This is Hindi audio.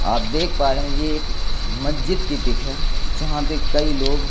आप देख पा रहे हैं ये एक मज्जिद की पिक है जहां पे कई लोग--